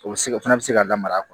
O bɛ se o fana bɛ se ka lamaga a kun